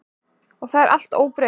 Og það er allt óbreytt.